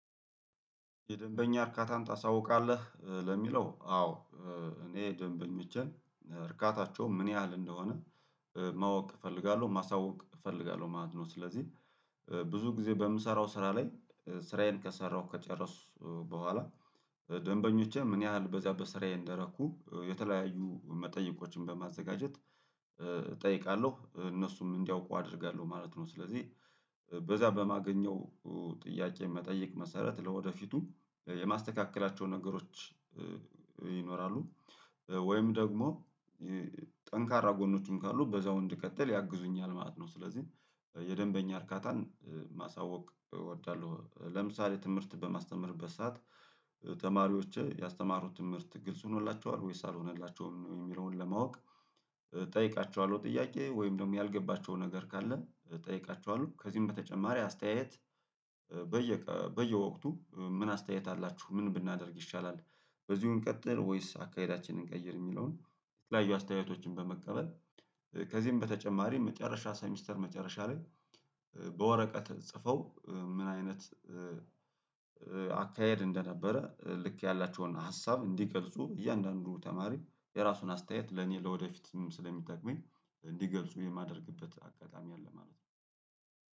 የደንበኛ እርካታን ታሳውቃለህ ለሚለው አዎ እኔ ደንበኛ ብቻን እርካታቸው ምን ያህል እንደሆነ ማወቅ እፈልጋለሁ ማሳወቅ እፈልጋለሁ ማለት ነው። ስለዚህ ብዙ ጊዜ በምሰራው ስራ ላይ ስራዬን ከሰራሁ ከጨረሱ በኋላ ደንበኞቼ ምን ያህል በዚያ በስራዬ እንደረኩ የተለያዩ መጠየቆችን በማዘጋጀት እጠይቃለሁ እነሱም እንዲያውቁ አደርጋለሁ ማለት ነው። ስለዚህ በዛ በማገኘው ጥያቄ መጠየቅ መሰረት ለወደፊቱ የማስተካከላቸው ነገሮች ይኖራሉ ወይም ደግሞ ጠንካራ ጎኖችን ካሉ በዛው እንድቀጥል ያግዙኛል ማለት ነው። ስለዚህ የደንበኛ እርካታን ማሳወቅ እወዳለሁ። ለምሳሌ ትምህርት በማስተምርበት ሰዓት ተማሪዎች ያስተማሩት ትምህርት ግልጽ ሆኖላቸዋል ወይስ አልሆነላቸውም የሚለውን ለማወቅ እጠይቃቸዋለሁ። ጥያቄ ወይም ደግሞ ያልገባቸው ነገር ካለ እጠይቃቸዋለሁ ከዚህም በተጨማሪ አስተያየት በየ በየወቅቱ ምን አስተያየት አላችሁ ምን ብናደርግ ይሻላል? በዚሁ እንቀጥል ወይስ አካሄዳችንን እንቀይር የሚለውን? የተለያዩ አስተያየቶችን በመቀበል ከዚህም በተጨማሪ መጨረሻ ሰሚስተር መጨረሻ ላይ በወረቀት ጽፈው ምን አይነት አካሄድ እንደነበረ ልክ ያላቸውን ሀሳብ እንዲቀልጹ እያንዳንዱ ተማሪ የራሱን አስተያየት ለኔ ለወደፊትም ስለሚጠቅመኝ እንዲገልጹ የማደርግበት አጋጣሚ አለ ማለት ነው።